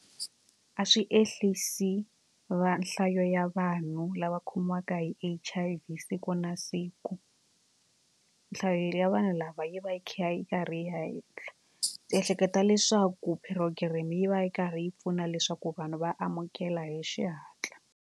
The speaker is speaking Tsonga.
A swi ehlisi va nhlayo ya vanhu lava khomiwaka hi H_I_V siku na siku nhlayo ya vanhu lava yi va yi kha yi karhi yi ya henhla. Ndzi ehleketa leswaku purogireme yi va yi karhi yi pfuna leswaku vanhu va amukela hi xihatla.